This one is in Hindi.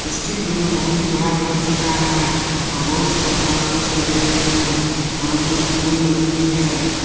इस चित्र मे बहुत ही बड़ा घर दिख रहा है और बहुत सारे घास फूस लगे हुए है और कुछ फूल लगे हुई है।